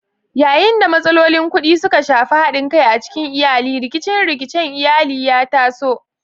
Yayin da matsalolin kuɗi suka shafi haɗin kai a cikin iyali, rikice-rikicen iyali ya taso.